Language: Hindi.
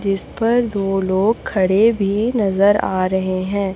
जिस पर दो लोग खड़े भी नजर आ रहे है।